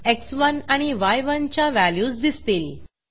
एक्स1 आणि य1 च्या व्हॅल्यूज दिसतील